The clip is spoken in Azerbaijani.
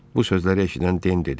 Bu sözləri eşidən Den dedi.